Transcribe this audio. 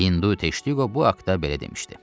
Hindu Teştiqo bu haqda belə demişdi.